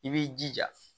I b'i jija